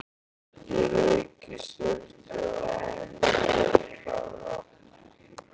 Ég rauk í sturtu á methraða.